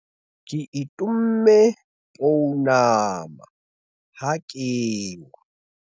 ke itomme pounama ha ke wa